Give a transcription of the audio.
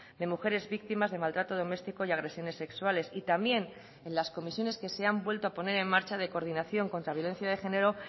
de mujeres víctimas de maltrato doméstico y agresiones sexuales y también en las comisiones que se han vuelto a poner en marcha de coordinación contra violencia de género